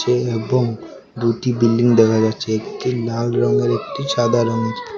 এবং দুটি বিল্ডিং দেখা যাচ্ছে একটি লাল রঙের একটি সাদা রঙের।